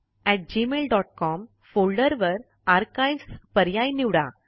STUSERONEgmailcom folder वर archives पर्याय निवडा